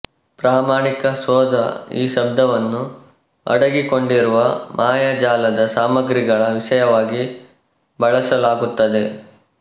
ಪ್ರಾಮಾಣಿಕ ಶೋಧ ಈ ಶಬ್ದವನ್ನು ಅಡಗಿಕೊಂಡಿರುವ ಮಾಯಾ ಜಾಲದ ಸಾಮಗ್ರಿಗಳ ವಿಷಯವಾಗಿ ಬಳಸಲಾಗುತ್ತದೆ